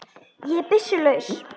Ég er byssu laus.